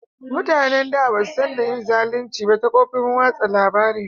Mutanen da ba su San da yin zalunci ta kofofin watsa labari ba